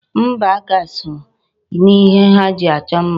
Mgba aka so n'ihe ha ji achọ mma.